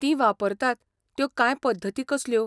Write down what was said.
तीं वापरतात त्यो कांय पद्दती कसल्यो?